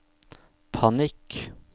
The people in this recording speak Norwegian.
panikk